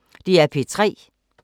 DR P3